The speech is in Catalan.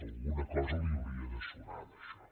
alguna cosa li hauria de sonar d’això